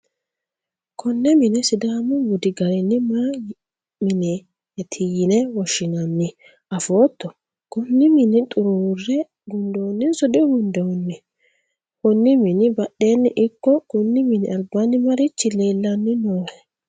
konne mine sidaamu budi garinni may mineeti yine woshshi'nanni afootto? konne mine xuruurre gundoonnihonso digundoonniho? konni mini badheenni ikko konni mini albaanni marichi leellanni noohe?